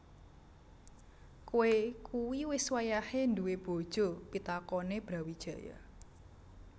Koe kui wis wayahe duwé bojo pitakone Brawijaya